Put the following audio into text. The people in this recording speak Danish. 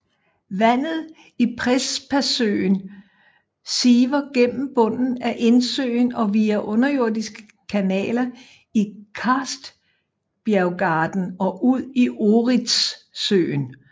Vandet i Prespasøen siver gennem bunden af indsøen og via underjordiske kanaler i karstbjergarten og ud i Ohridsøen